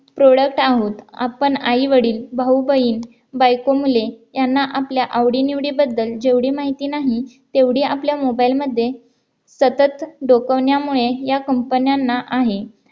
product आहोत आपण आई-वडील, भाऊ-बहीण, बायको-मुले यांना आपल्या आवडी निवडी बद्दल जेवढी माहिती नाही तेवढी आपल्या mobile मध्ये सतत डोकवण्यामुळे या company न्यांना आहे